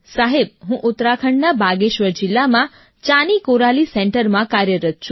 સાહેબ હું ઉત્તરાખંડના બાગેશ્વર જિલ્લામાં ચાની કોરાલી સેન્ટરમાં કાર્યરત્ છું